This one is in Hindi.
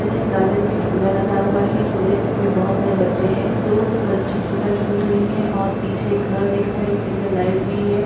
इन्है गार्डन में झूला लगा हुआ है। झूले में बहुत सारे बच्चे हैं। दो बच्ची झूला झूल रहीं हैं और पीछे एक घर दिख रहा है। इसके अंदर लाइट भी है।